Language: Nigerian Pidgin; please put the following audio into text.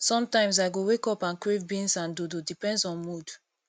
sometimes i go wake up and crave beans and dodo depends on mood